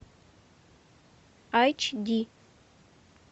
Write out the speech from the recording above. айч ди